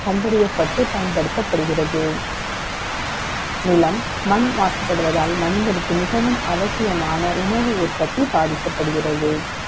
கண்டறியப்பட்டு, பயன்படுத்தப்படுகிறது. நிலம், மண் மாசுபடுவதால், மனிதனுக்கு, மிகவும் அவசியமான, உணவு உற்பத்தி பாதிக்கப்படுகிறது